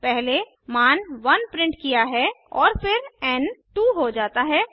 पहले मान 1 प्रिंट किया है और फिर एन 2 हो जाता है